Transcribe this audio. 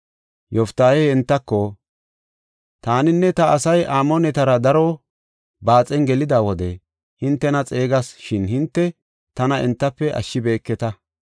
Yoftaahey entako, “Taaninne ta asay Amoonetara daro baaxen gelida wode hintena xeegas; shin hinte tana entafe ashshibeketa.